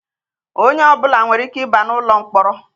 Onye ọbụla nwere ike ị ba n'ụlọ mkpọrọ.